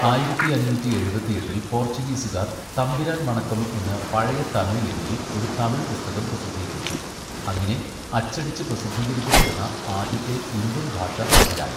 ആയിരത്തി അഞ്ഞൂറ്റി എഴുപത്തിയെട്ടില് പോർച്ചുഗീസുകാർ 'തമ്പിരാൻ വണക്കം' എന്ന് പഴയ തമിഴ് ലിപിയിൽ ഒരു തമിഴ് പുസ്തകം പ്രസിദ്ധീകരിച്ചു, അങ്ങനെ അച്ചടിച്ച് പ്രസിദ്ധീകരിക്കപ്പെടുന്ന ആദ്യത്തെ ഇന്ത്യൻ ഭാഷ തമിഴായി.